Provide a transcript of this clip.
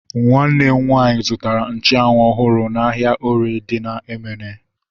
Nwanne m nwaanyị zụtara nchanwu ọhụrụ n'ahia orie dị na Emene